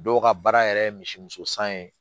Dɔw ka baara yɛrɛ ye misi muso san ye